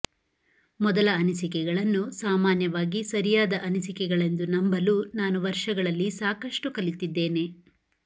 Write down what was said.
ಮೊದಲ ಅನಿಸಿಕೆಗಳನ್ನು ಸಾಮಾನ್ಯವಾಗಿ ಸರಿಯಾದ ಅನಿಸಿಕೆಗಳೆಂದು ನಂಬಲು ನಾನು ವರ್ಷಗಳಲ್ಲಿ ಸಾಕಷ್ಟು ಕಲಿತಿದ್ದೇನೆ